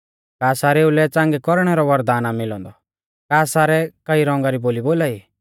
का सारेउ लै च़ांगै कौरणै रौ वरदान आ मिलौ औन्दौ का सारै कई रौंगा री बोली बोलाई